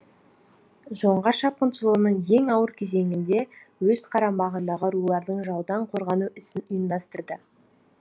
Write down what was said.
жоңғар шапқыншылығының ең ауыр кезеңінде өз қарамағындағы рулардың жаудан қорғану ісін ұйымдастырды